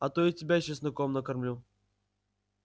а то и тебя чесноком накормлю